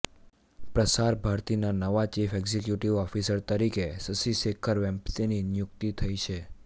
પ્રસાર ભારતીના નવા ચીફ એક્ઝિક્યુટીવ ઓફિસર તરીકે શશી શેખર વેમ્પતીની નિયુક્તિ થઈ છે